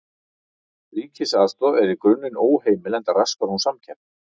Ríkisaðstoð er í grunninn óheimil enda raskar hún samkeppni.